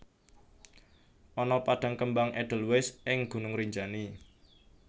Ana padang kembang edelwais ing Gunung Rinjani